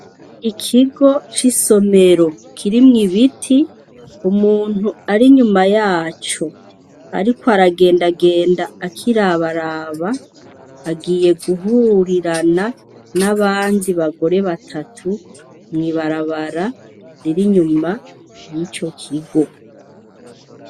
Ikigo c'isomero ,kirimwo ibiti umuntu ari inyuma yaco ariko aragendagenda akiraba raba agiye guhurirana nabandi bagore batatu mw'ibarabara riri inyuma yico kigo.